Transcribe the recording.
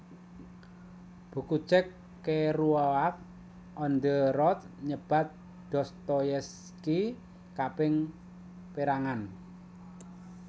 Buku Jack Kerouac On the Road nyebat Dostoyevsky kaping pérangan